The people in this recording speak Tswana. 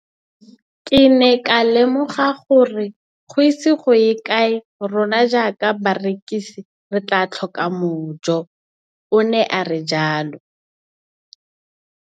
Ke ne ka lemoga gore go ise go ye kae rona jaaka barekise re tla tlhoka mojo, o ne a re jalo.